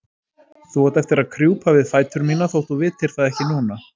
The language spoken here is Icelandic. Þú átt eftir að krjúpa við fætur mína þótt þú vitir það ekki núna.